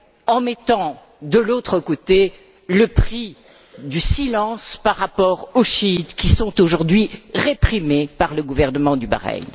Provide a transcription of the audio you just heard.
en mettant de l'autre côté le prix du silence par rapport aux chiites qui sont aujourd'hui réprimés par le gouvernement du Bahreïn.